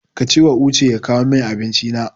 Ka cewa Uche ya kawo min Abinci na.